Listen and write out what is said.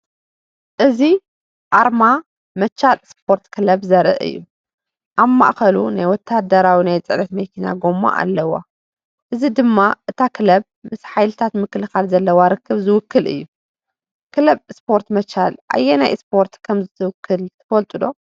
እዚ ኣርማ “መቻል ስፖርት ክለብ” ዘርኢ እዩ። ኣብ ማእከሉ ናይ ወተሃደራዊ ናይ ጽዕነት መኪና ጎማ ኣለዎ፡ እዚ ድማ እታ ክለብ ምስ ሓይልታት ምክልኻል ዘለዋ ርክብ ዝውክል’ዩ። ክለብ ስፖርት መቻል ኣየናይ ስፖርት ከም እትውክል ትፈልጡ ዶ? .